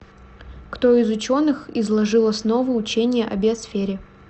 кто из ученых изложил основы учения о биосфере